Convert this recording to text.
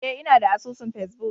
Eh inada asusun face-book.